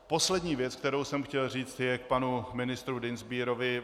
Poslední věc, kterou jsem chtěl říct, je k panu ministru Dienstbierovi.